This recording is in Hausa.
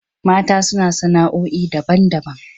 Mata suna sana'oi daban-daban.